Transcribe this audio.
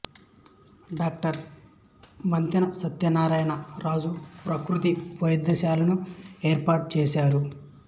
doctor Mantena Satyanarayana Raju ప్రకృతి వైద్యశాలను ఏర్పాటు చేశారు